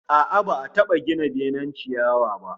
A'a, ba'a taba gina benen ciyawa ba